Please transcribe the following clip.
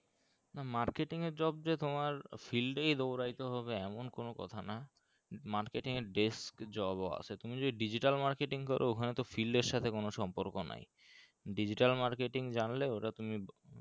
উম marketing এর job যে তোমার field এই দৌড়োতে হবে এমন কোনো কথা না marketing এর desk job ও আছে তুমি যদি digital markiting করো ওখানে তো field এর সাথে কোনো সম্পর্ক নাই digital marketing জানলেও ওটা তুমি